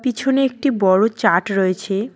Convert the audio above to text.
পিছনে একটি বড়ো চার্ট রয়েছে।